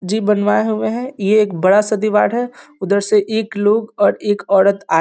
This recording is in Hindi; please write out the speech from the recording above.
जी बनवाए हुआ है ये एक बड़ा-सा दिवार है उधर से एक लोग और एक औरत आ --